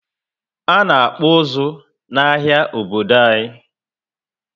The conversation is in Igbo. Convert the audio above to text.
Ana akpu uzu na áhiá Obodo anyi